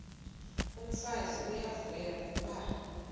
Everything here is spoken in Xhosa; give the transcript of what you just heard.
umfazi uyavuya kuba